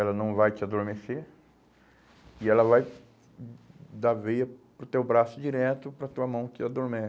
ela não vai te adormecer e ela vai da veia para o teu braço direto para tua mão que